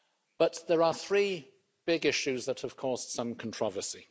But there are three big issues that have caused some controversy.